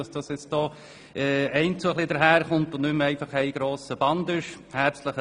So werden die einzelnen Teile jetzt aufgegliedert.